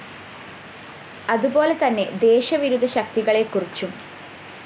അതുപോലെ തന്നെ ദേശവിരുദ്ധ ശക്തികളെക്കുറിച്ചും